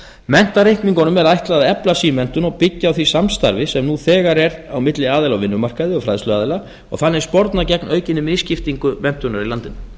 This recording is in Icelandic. menntareikningum er ætlað að efla símenntun og byggja á því samstarfi sem nú þegar er á milli aðila á vinnumarkaði og fræðsluaðila og þannig sporna gegn aukinni misskiptingu menntunar í landinu